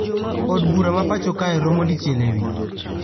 Od bura ma pacho kae romo dichiel e wik